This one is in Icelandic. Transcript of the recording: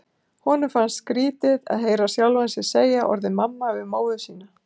Honum fannst skrítið að heyra sjálfan sig segja orðið mamma við móður sína.